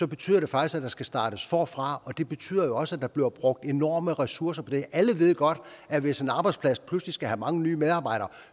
betyder det faktisk at der skal startes forfra og det betyder jo også at der bliver brugt enorme ressourcer på det alle ved godt at hvis en arbejdsplads pludselig skal have mange nye medarbejdere